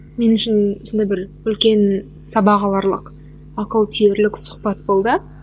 мен үшін сондай бір үлкен сабақ аларлық ақыл түйерлік сұхбат болды